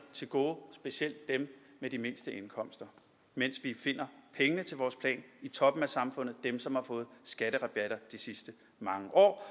til gode specielt dem med de mindste indkomster mens vi finder pengene til vores plan i toppen af samfundet dem som har fået skatterabatter de sidste mange år